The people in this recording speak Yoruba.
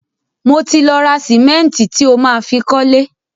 Mo ti lọ ra sìmẹ́ǹtì tí o má fi kọ́lé.